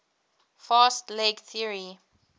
fast leg theory